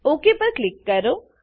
okay પર click કરો